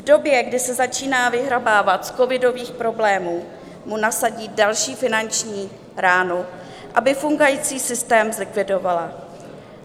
V době, kdy se začíná vyhrabávat z covidových problémů, mu nasadí další finanční ránu, aby fungující systém zlikvidovala.